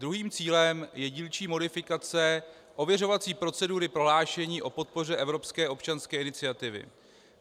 Druhým cílem je dílčí modifikace ověřovací procedury prohlášení o podpoře evropské občanské iniciativy.